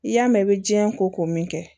I y'a mɛn i bɛ jiyɛn ko min kɛ